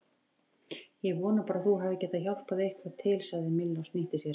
Ég vona bara að þú hafir getað hjálpað eitthvað til sagði Milla og snýtti sér.